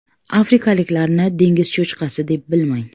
Afrikaliklarni dengiz cho‘chqasi deb bilmang.